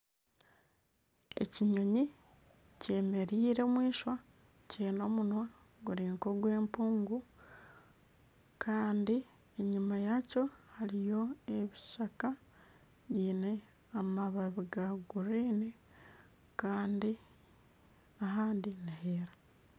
Ekinyonyi kyemereire omu ishwa kiine omunwa guri nk'ogw'empungu kandi enyima yaakyo hariyo ebishaka biine amababi ga guriini kandi ahandi niheera